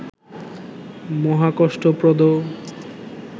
মহাকষ্টপ্রদ